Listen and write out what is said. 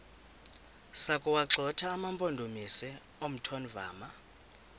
sokuwagxotha amampondomise omthonvama